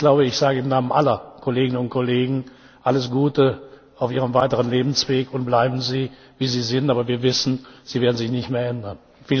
Ich sage wohl im Namen aller Kolleginnen und Kollegen Alles Gute auf Ihrem weiteren Lebensweg, und bleiben Sie, wie Sie sind! Aber wir wissen, Sie werden sich nicht mehr ändern.